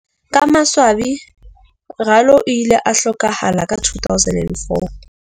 Ka maswabi Ralo o ile a hlokahala ka 2004.